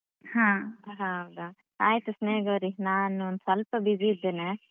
ಹಾ ಹೌದಾ ಆಯ್ತು ಸ್ನೇಹಗೌರಿ ನಾನು ಒಂದ್ ಸ್ವಲ್ಪ busy ಇದ್ದೇನೇ duty ಅಲ್ಲಿ ಇದ್ದೇನೆ